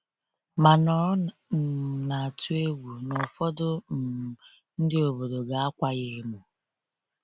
Mana ọ um na-atụ egwu na ụfọdụ um ndị obodo ga-akwa ya emo.